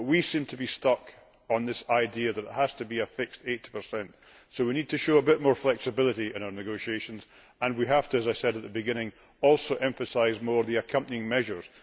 But we seem to be stuck on this idea that it has to be a fixed 80, so we need to show a bit more flexibility in our negotiations and we must, as I said at the beginning, also emphasise more the accompanying measures.